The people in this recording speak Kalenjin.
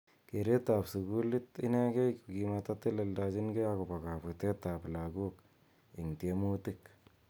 Keret ap sukul inekei ko kimatatelelchinkei akopo kaputet ap lagok ing tiemutik.